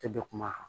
Tɛ bɛ kuma